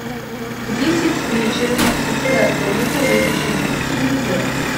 в десять вечера мастерская комната выключить звук телевизора